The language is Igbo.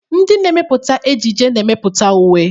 Ndị na-emepụta ejiji na-emepụta uwe.